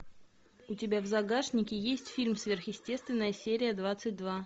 у тебя в загашнике есть фильм сверхъестественное серия двадцать два